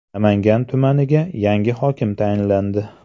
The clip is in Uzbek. Namangan tumaniga yangi hokim tayinlandi.